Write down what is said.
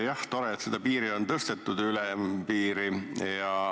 Jah, tore, et seda ülempiiri on tõstetud.